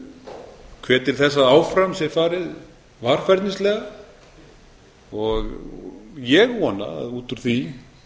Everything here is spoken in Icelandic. hvet til þess að áfram sé farið varfærnislega og ég vona að út úr því